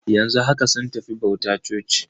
Yanzu haka sun tafi bauta a coci.